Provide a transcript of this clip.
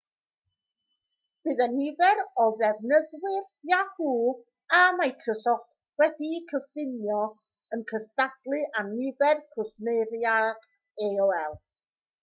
bydd y nifer o ddefnyddwyr yahoo a microsoft wedi'u cyfuno yn cystadlu â nifer cwsmeriaid aol